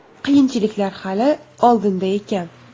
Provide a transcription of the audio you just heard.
Qiyinchiliklar hali oldinda ekan.